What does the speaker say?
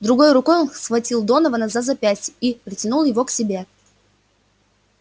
другой рукой он схватил донована за запястье и притянул его к себе